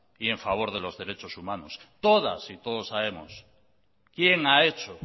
y en favor de los derechos humanos todas y todos sabemos quién ha hecho